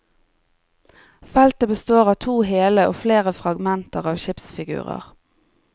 Feltet består av to hele og flere fragmenter av skipsfigurer.